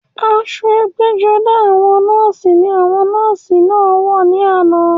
Aṣọ ẹgbẹ́-jọdá àwọn nọ́ọ̀sì ní àwọn nọ́ọ̀sì náà wà ní àná.